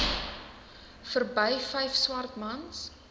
verby vyf swartmans